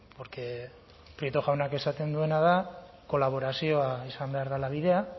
porque prieto jaunak esaten duena da kolaborazioa izan behar dela bidea